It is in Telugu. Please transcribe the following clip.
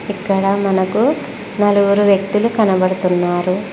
ఇక్కడ మనకు నలుగురు వ్యక్తులు కనబడుతున్నారు.